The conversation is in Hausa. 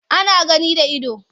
Ana gani da ido.